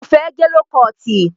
Kò fẹ́ gẹ ló kọọ̀tì.